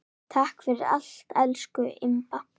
Takk fyrir allt, elsku Imba.